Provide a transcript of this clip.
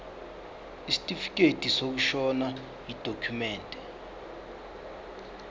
isitifikedi sokushona yidokhumende